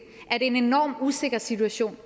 er det en enormt usikker situation